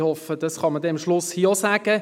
Ich hoffe, diese könne man am Schluss sagen.